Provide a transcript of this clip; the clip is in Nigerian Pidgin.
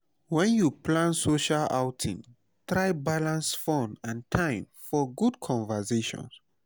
when you plan social outing try balance fun and time for good conversations.